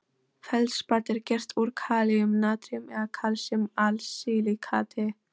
Feldspat er gert úr kalíum-, natríum- eða kalsíum-ál-silíkati